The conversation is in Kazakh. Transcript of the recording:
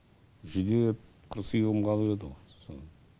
жүдеп құр сүйегім қалып еді ғо сол